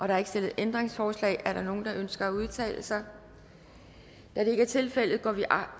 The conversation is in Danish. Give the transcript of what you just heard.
er ikke stillet ændringsforslag er der nogen der ønsker at udtale sig da det ikke er tilfældet går vi